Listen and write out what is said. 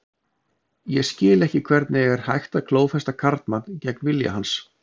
Ég skil ekki hvernig er hægt að klófesta karlmann gegn vilja hans.